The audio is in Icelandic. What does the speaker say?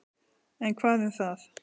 En hvað um það.